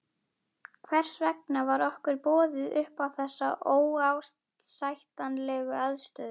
Hvers vegna var okkur boðið upp á þessa óásættanlegu aðstöðu?